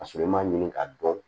Ka sɔrɔ i m'a ɲini ka dɔn